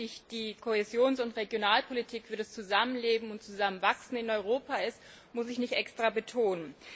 Wie wichtig die Kohäsions und Regionalpolitik für das Zusammenleben und Zusammenwachsen in Europa ist, muss ich nicht extra betonen.